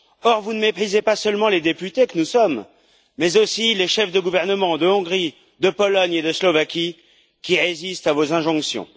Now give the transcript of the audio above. Or, vous ne méprisez pas seulement les députés que nous sommes, mais aussi les chefs de gouvernement de Hongrie, de Pologne et de Slovaquie qui résistent à vos injonctions.